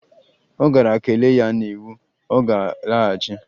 Ọ gara kelee ya n'iwu, ọ ga-alaghachi